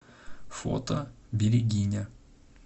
фото берегиня